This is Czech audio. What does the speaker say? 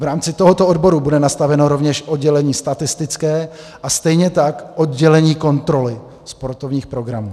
V rámci tohoto odboru bude nastaveno rovněž oddělení statistické a stejně tak oddělení kontroly sportovních programů.